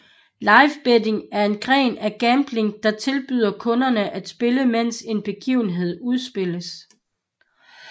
Live betting er en gren af gambling der tilbyder kunden at spille mens en begivenhed udspilles